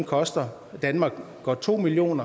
koster danmark godt to million